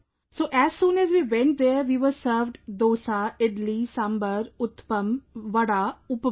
So as soon as we went there we were served Dosa, Idli, Sambhar, Uttapam, Vada, Upma